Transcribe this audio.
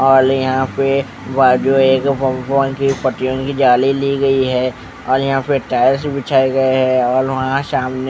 औल यहां पे जाली ली गई है और यहां पे टाइल्स बिछाए गए हैं और वहां सामने--